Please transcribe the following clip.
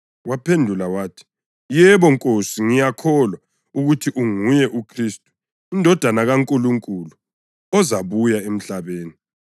Waphendula wathi, “Yebo Nkosi, ngiyakholwa ukuthi unguye uKhristu, iNdodana kaNkulunkulu, ozabuya emhlabeni.”